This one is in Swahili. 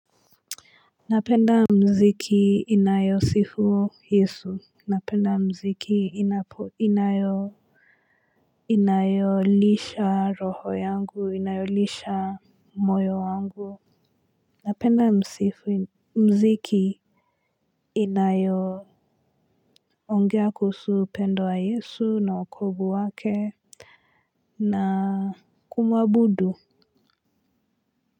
Napenda muziki inayo sifu Yesu napenda muziki inapo inayo inayo lisha roho yangu inayo lisha moyo wangu napenda muziki inayo ongea kuhusu pendo wa Yesu na wokovu wake na kumwabudu.